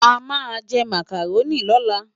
Amá jè Mákáróni lòlá